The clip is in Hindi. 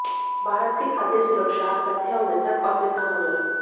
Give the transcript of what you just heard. भारत की खाद्य सुरक्षाः तथ्य एवं मिथक और किसान आंदोलन